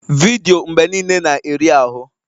Vidiyo mgbe niile na-eri ahụ